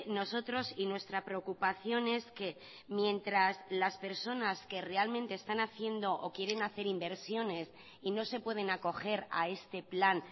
nosotros y nuestra preocupación es que mientras las personas que realmente están haciendo o quieren hacer inversiones y no se pueden acoger a este plan